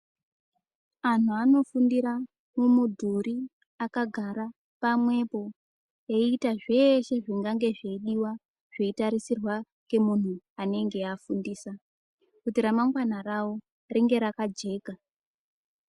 Anhu ano fundira mu mudhuri aka gara pamwepo eiita zveshe zvingange zveidiwa zveyi tarisirwa nge munhu anenge afundisa kuti ra mangwana ravo ringe rakajeka.